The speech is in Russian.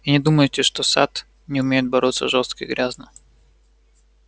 и не думайте что сатт не умеет бороться жёстко и грязно